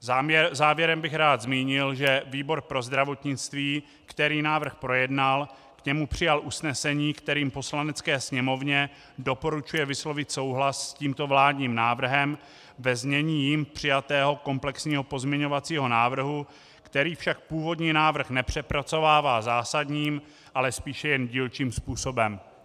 Závěrem bych rád zmínil, že výbor pro zdravotnictví, který návrh projednal, k němu přijal usnesení, kterým Poslanecké sněmovně doporučuje vyslovit souhlas s tímto vládním návrhem ve znění jím přijatého komplexního pozměňovacího návrhu, který však původní návrh nepřepracovává zásadním, ale spíše jen dílčím způsobem.